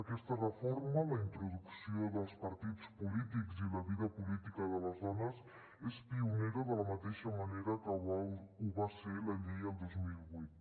aquesta reforma la introducció dels partits polítics i la vida política de les dones és pionera de la mateixa manera que ho va ser la llei el dos mil vuit